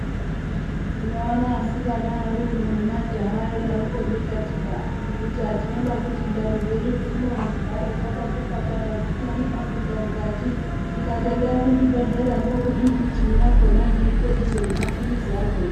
Unoona asikana ari uno nemajaha eidaroko dikatika kuti tinoda kuti ndani dzedu dzino dzigare dzakati fatata dzigare dzisina nemafuta mukati tikati endai kuzvibhedhlera ndiko kune michini yakhonayo inoite izvozvo nemapirizi akhona.